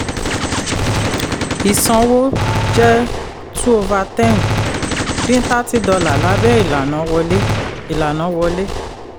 ìsanwó jẹ́ 2/10; dín $30 lábé ilàna wọlé. ilàna wọlé.